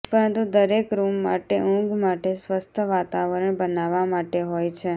પરંતુ દરેક રૂમ માટે ઊંઘ માટે સ્વસ્થ વાતાવરણ બનાવવા માટે હોય છે